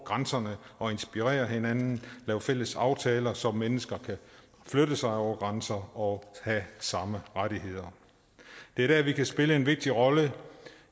grænserne og inspirere hinanden lave fælles aftaler så mennesker kan flytte sig over grænser og have samme rettigheder det er der vi kan spille en vigtig rolle